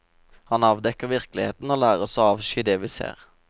Han avdekker virkeligheten og lærer oss å avsky det vi ser.